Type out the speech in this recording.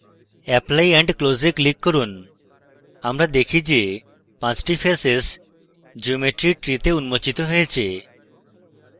apply and close we click করুন আমরা দেখি যে পাঁচটি faces geometry tree তে উন্মোচিত হয়েছে